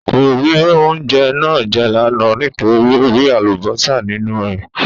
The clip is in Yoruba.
Kò rí oúnjẹ náà jẹ́ lánàá nítorí ó rí Àlùbọ́sà nínú ẹ̀